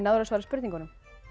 að svara spurningunum